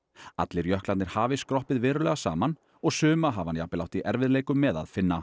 allir jöklarnir hafi skroppið verulega saman og suma hafi hann jafnvel átt í erfiðleikum með að finna